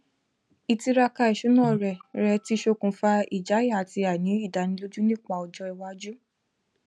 ìtiraka ìṣúná rẹ rẹ tí ṣokùnfà ìjáyà àti àìní ìdánilójú nípa ọjọ iwájú